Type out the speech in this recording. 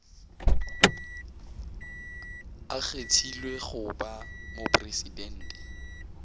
a kgethilwego go ba mopresidente